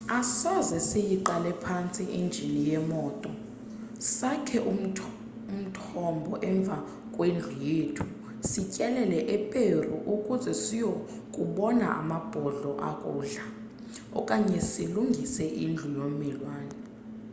asoze siyiqale phantsi injini yemoto sakhe umthombo emva kwendlu yethu sityelele eperu ukuze siyokubona amabhodlo akudla okanye silungise indlu yommelwane